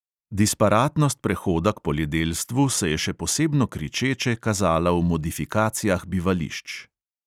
Disparatnost prehoda k poljedelstvu se je še posebno kričeče kazala v modifikacijah bivališč.